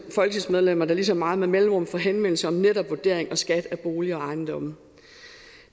folketingsmedlemmer der ligesom mig med mellemrum får henvendelser om netop vurdering og skat af bolig og ejendomme